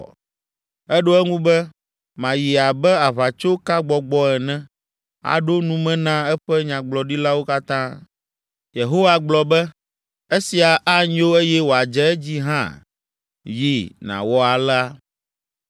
“Eɖo eŋu be, ‘Mayi abe aʋatsokagbɔgbɔ ene, aɖo nume na eƒe nyagblɔɖilawo katã.’ “Yehowa gblɔ be, ‘Esia anyo eye wòadze edzi hã, yi, nàwɔ alea.’